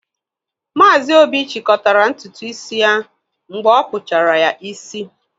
Maazi Obi chịkọtara ntutu isi ya mgbe a kpụchara ya isi.